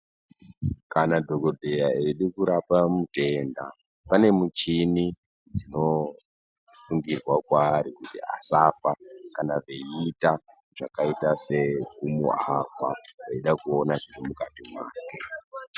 Kana dhokodheya eida kurapa mutenda, pane michini dzinosungirwa kwaari kuti asafa kana veiita zvakaita sekumuavha, veida kuona zviri mukati mwake.